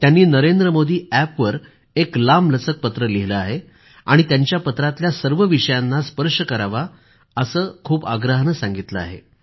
त्यांनी नरेंद्रमोदीअॅपवर एक लांबलचक पत्र लिहिलं आहे आणि त्यांच्या पत्रातल्या सर्व विषयांना स्पर्श करावा असं खूप आग्रहानं सांगितलं आहे